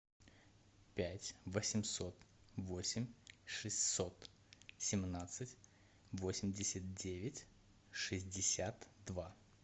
пять восемьсот восемь шестьсот семнадцать восемьдесят девять шестьдесят два